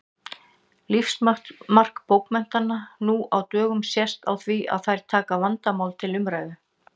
Lífsmark bókmennta nú á dögum sést á því að þær taka vandamál til umræðu.